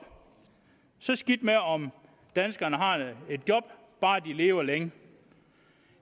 så skidt med om danskerne har et job bare de lever længe